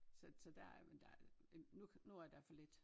Så så der er men der nu nu er der for lidt